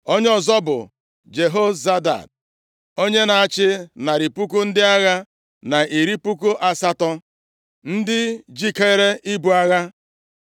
Onye ọzọ bụ Jehozabad, onye na-achị narị puku ndị agha na iri puku asatọ (180,000), ndị jikeere ibu agha.